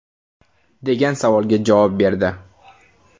degan savolga javob berdi.